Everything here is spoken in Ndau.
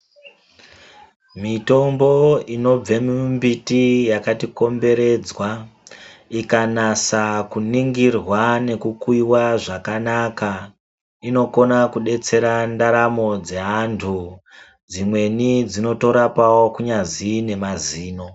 Mitombo inobva mumbiti yakatikomberedza, ikanasa kuningirwa nekukuyiwa zvakanaka inokona kudetsera ndaramo dzeantu. Dzimweni dzinotorapawo kunyazi ngemazino.